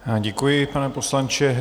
Děkuji, pane poslanče.